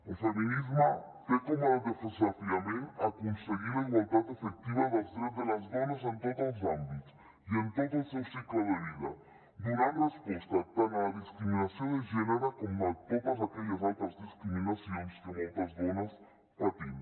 el feminisme té com a desafiament aconseguir la igualtat efectiva dels drets de les dones en tots els àmbits i en tot el seu cicle de vida donant resposta tant a la discriminació de gènere com a totes aquelles altres discriminacions que moltes dones patim